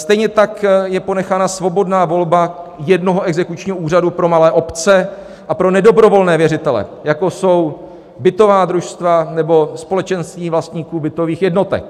Stejně tak je ponechána svobodná volba jednoho exekučního úřadu pro malé obce a pro nedobrovolné věřitele, jako jsou bytová družstva nebo společenství vlastníků bytových jednotek.